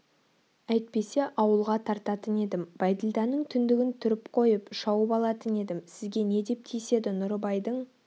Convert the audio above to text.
әйтпесе ауылға тартатын едім бәйділданың түндігін түріп қойып шауып алатын едім сізге не деп тиіседі нұрыбайдың